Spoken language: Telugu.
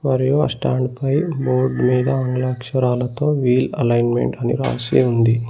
మరియు ఆ స్టాండ్ పై బోర్డ్ మీద ఆంగ్ల అక్షరాలతో వీల్ అలైన్మెంట్ అని రాసి ఉంది.